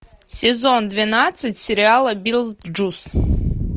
сезон двенадцать сериала битлджус